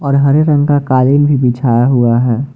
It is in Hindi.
और हरे रंग का कालीन बिछाया हुआ है ।